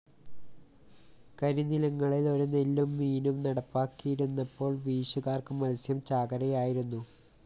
കരിനിലങ്ങളില്‍ ഒരു നെല്ലും മീനും നടപ്പാക്കിയിരുന്നപ്പോള്‍ വീശുകാര്‍ക്ക് മത്സ്യം ചാകരയായിരുന്നു